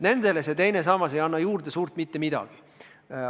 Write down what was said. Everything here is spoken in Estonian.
Nendele ei anna teine sammas juurde suurt mitte midagi.